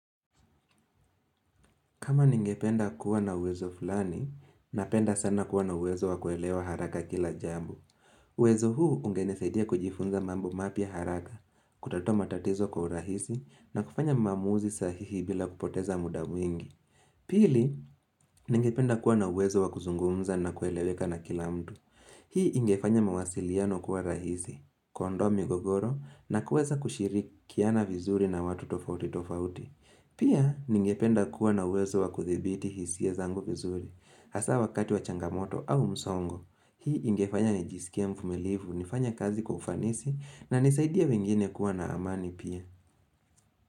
Kama ningependa kuwa na uwezo fulani, napenda sana kuwa na uwezo wa kuelewa haraka kila jambu. Kama ningependa kuwa na uwezo fulani, napenda sana kuwa na uwezo wa kuelewa haraka kila jambu. Pili ningependa kuwa na uwezo na kuzungumza na kueleweka na kila mtu hii ingefanya mazungumzo kuwa rahisi kuondoa migogoro na kuweza kushirikiana vizuri na watu tofauti tofauti pia ningependa kuwa na uwezo wa kudhibiti hisia zangu vizuri hasaa wakati wa changamoto au msongo hii ingefanya nijiskie mvumilivu nifanye kazi kwa ufanisi na nisaidie wengine kuwa na amani pia.